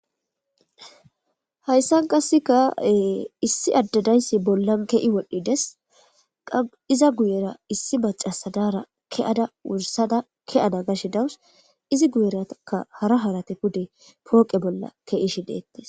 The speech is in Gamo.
Hayssan qasseka issi addadayssi bollan kehi wodhdhides qiza guyera issi macasadara ke'ada wursada ke'ada gashe dawus izi guyeraka hara harate pude pooqe bolla ke'ishi deettes.